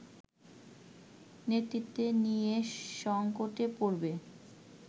নেতৃত্ব নিয়ে সঙ্কটে পড়বে